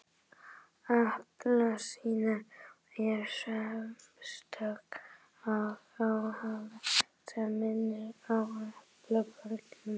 Appelsínuhúð er sérstök áferð á húðinni sem minnir á appelsínubörk